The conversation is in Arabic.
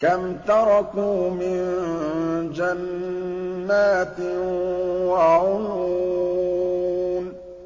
كَمْ تَرَكُوا مِن جَنَّاتٍ وَعُيُونٍ